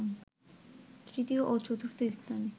তৃতীয় ও চতুর্থ স্থানে